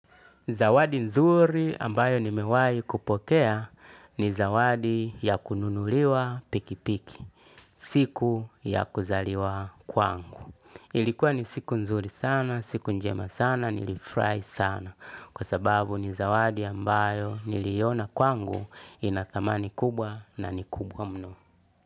Zawadi nzuri ambayo nimewai kupokea ni zawadi ya kununuliwa pikipiki, siku ya kuzaliwa kwangu. Ilikuwa ni siku nzuri sana, siku njema sana, nilifurahi sana, kwa sababu ni zawadi ambayo niliona kwangu ina thamani kubwa na ni kubwa mno.